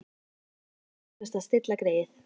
Það þarf eflaust að stilla greyið.